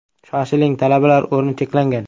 Shoshiling, talabalar o‘rni cheklangan.